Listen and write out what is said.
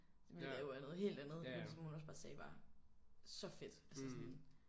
Som jo er ja noget helt andet men som hun også bare sagde var så fedt altså sådan